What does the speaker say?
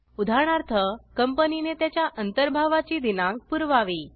उदाहरणार्थ कंपनी ने त्याच्या अंतर्भावाची दिनांक पुरवावी